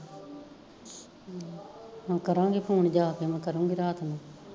ਹਾਂ ਕਰਾਂਗੀ ਫੋਨ ਜਾਕੇ ਮੈਂ ਕਰੂੰਗੀ ਰਾਤ ਨੂੰ